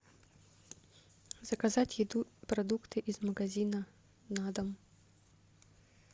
заказать еду продукты из магазина на дом